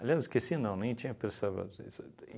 Aliás, esqueci não, nem tinha.